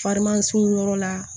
Farimansin yɔrɔ la